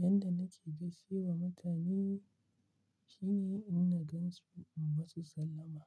Yanda nake gaishe wa mutane shine inna gan su in masu sallama.